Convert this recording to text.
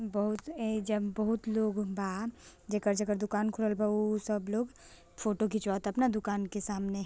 बहुत ए जन बहुत लोग बा| जेकर-जेकर दुकान खुलल बा उ सब लोग फोटो खिचवाता अपने दुकान के सामने |